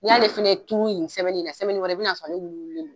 N'i y'ale fana turu nin i bin'a sɔrɔ nale wuliwulilen don.